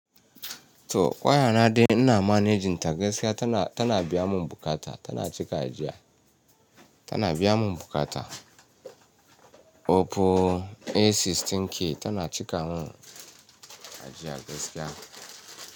To waya na dai ina managing ta gaskiya tana, tana biya mun buƙata, tana cika ajiya. Tana biya mun buƙata. Opu A16K tana cika mun ajiya gaskiya.